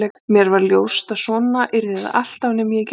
Mér varð ljóst að svona yrði það alltaf nema ég gerði eitthvað í málinu.